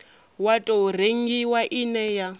wa tou rengiwa ine ya